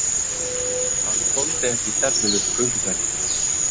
Hann þoldi ekki stefnulausar gönguferðir.